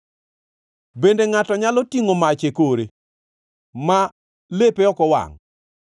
Bende ngʼato nyalo tingʼo mach e kore, ma lepe ok owangʼ?